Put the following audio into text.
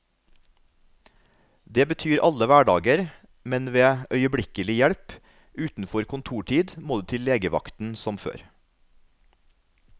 Det betyr alle hverdager, men ved øyeblikkelig hjelp utenfor kontortid må du til legevakten som før.